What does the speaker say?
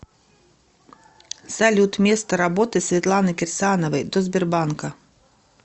салют место работы светланы кирсановой до сбербанка